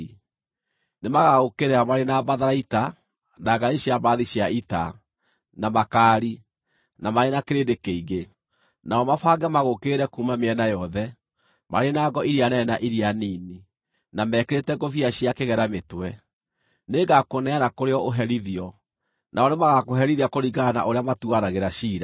Nĩmagagũũkĩrĩra marĩ na matharaita, na ngaari cia mbarathi cia ita, na makaari, na marĩ na kĩrĩndĩ kĩingĩ; nao mabange magũũkĩrĩre kuuma mĩena yothe, marĩ na ngo iria nene na iria nini, na mekĩrĩte ngũbia cia kĩgera mĩtwe. Nĩngakũneana kũrĩ o ũherithio, nao nĩmagakũherithia kũringana na ũrĩa matuuanagĩra ciira.